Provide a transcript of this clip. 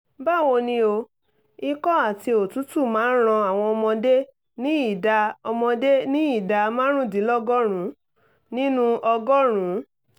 báwo ni o? ikọ́ àti òtútù máa ń ran àwọn ọmọdé ní ìdá ọmọdé ní ìdá márùndínlọ́gọ́rùn-ún nínú ọgọ́rùn-ún